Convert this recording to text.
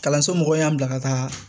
Kalanso mɔgɔw y'an bila ka taa